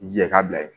Jɛ ka bila ye